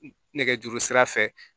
Nɛgɛjuru sira fɛ